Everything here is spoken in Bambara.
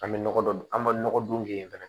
An bɛ nɔgɔ don an ma nɔgɔ dun kɛ yen fana